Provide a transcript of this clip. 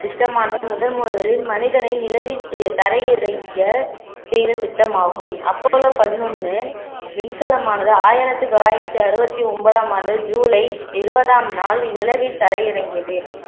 திட்டமானது முதன்முதலில் மனிதனை நிலவிற்கு தரை இறங்கிய செய்த திட்டமாகும் அப்போலோ பதினொன்னு விண்கலமானது ஆயிரத்தி தொள்ளாயிரத்தி அறுபத்தி ஒன்பதாம் ஆண்டு ஜூலை இருபதாம் நாளில் நிலவில் தரையிறங்கியது